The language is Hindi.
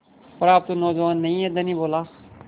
पर आप तो नौजवान नहीं हैं धनी बोला